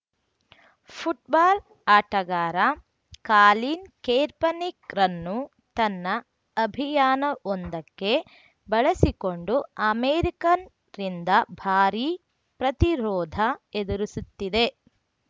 football ಆಟಗಾರ Colin ಕೇರ್ಪನಿಕ್‌ರನ್ನು ತನ್ನ ಅಭಿಯಾನವೊಂದಕ್ಕೆ ಬಳಸಿಕೊಂಡು ಅಮೆರಿಕನ್ ರಿಂದ ಭಾರಿ ಪ್ರತಿರೋಧ ಎದುರಿಸುತ್ತಿದೆ